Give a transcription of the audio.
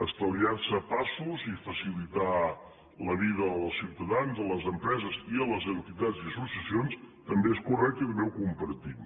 estalviar se passos i facilitar la vida als ciutadans i a les empreses i a les entitats i associacions també és correcte i també ho compartim